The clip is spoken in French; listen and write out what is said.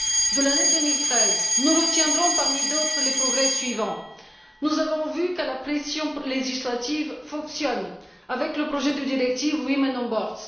De l'année 2013, nous retiendrons parmi d'autres le progrès suivant nous avons vu que la pression législative fonctionne, avec le projet de directive Women on Boards.